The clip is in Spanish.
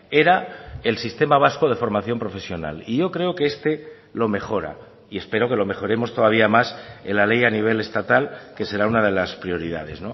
era el sistema vasco de formación profesional y yo creo que este lo mejora y espero que lo mejoremos todavía más en la ley a nivel estatal que será una de las prioridades